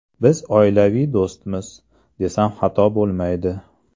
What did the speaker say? Biz oilaviy do‘stmiz, desam xato bo‘lmaydi”.